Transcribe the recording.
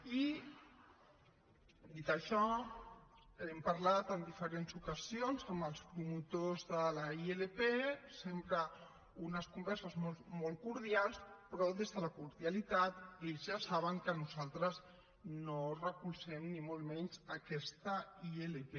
i dit això hem parlat en diferents ocasions amb els promotors de la ilp sempre unes converses molt cordials però des de la cordialitat ells ja saben que nosaltres no recolzem ni molt menys aquesta ilp